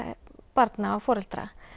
barna og foreldra